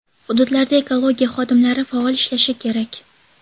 Hududlarda ekologiya xodimlari faol ishlashi kerak.